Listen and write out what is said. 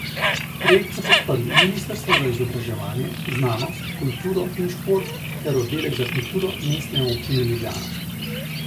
Projekt so podprli ministrstvo za izobraževanje, znanost, kulturo in šport ter oddelek za kulturo Mestne občine Ljubljana.